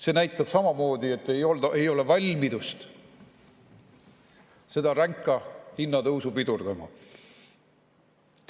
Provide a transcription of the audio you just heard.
See näitab samamoodi, et ei ole valmidust seda ränka hinnatõusu pidurdada.